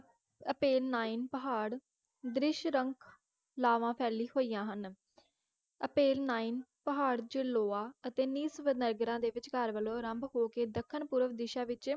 ਅਤੇ ਨਾਈਇਨ ਪਹਾੜ ਦ੍ਰਿਸ਼ ਰੰਗ ਲਾਵਾਂ ਫੈਲੀ ਹੋਈਆਂ ਹਨ ਅਤੇ ਨਾਈਇਨ ਪਹਾੜ ਜਲੋਆਂ ਅਤੇ ਨਿਸ ਵਨੇਗਰਾ ਦੇ ਵਿਚਕਾਰ ਵਲੋਂ ਆਰੰਭ ਹੋ ਕੇ ਦੱਖਣ ਪੂਰਵ ਦਿਸ ਵਿਚ